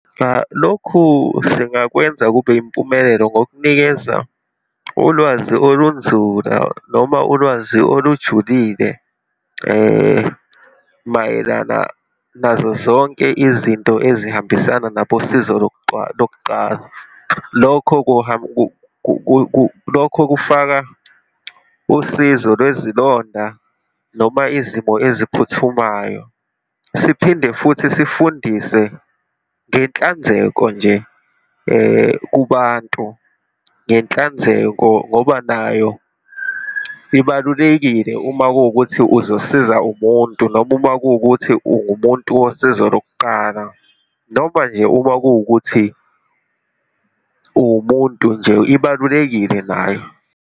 Cha, lokhu singakwenza kube yimpumelelo ngokunikeza ulwazi olunzula, noma ulwazi olujulile mayelana nazo zonke izinto ezihambisana nabosizo lokuqala. Lokho lokho kufaka usizo lwezilonda noma izimo eziphuthumayo. Siphinde futhi sifundise ngenhlanzeko nje kubantu, ngenhlanzeko ngoba nayo ibalulekile uma kuwukuthi uzosiza umuntu, noma uma kuwukuthi ungumuntu wosizo lokuqala, noma nje uma kuwukuthi uwumuntu nje, ibalulekile nayo.